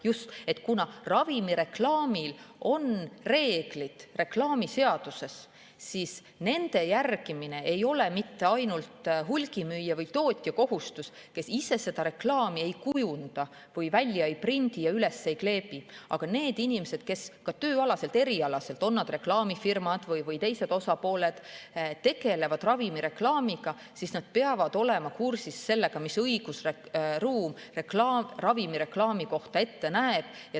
Just, kuna ravimireklaamil on reklaamiseaduse järgi reeglid, siis nende järgimine ei ole mitte ainult hulgimüüja või tootja kohustus, kes ise seda reklaami ei kujunda, välja ei prindi ja üles ei kleebi, aga need inimesed, kes ka tööalaselt, erialaselt – töötavad nad siis reklaamifirmas või mõnes teises osapooles – tegelevad ravimireklaamiga, peavad olema kursis sellega, mida õigusruum ravimireklaami kohta ette näeb.